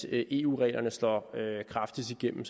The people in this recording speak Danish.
eu reglerne slår kraftigst igennem